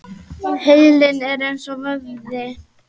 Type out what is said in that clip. Heilinn er eins og vöðvi.